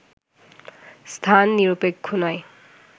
স্থান নিরপেক্ষ নয়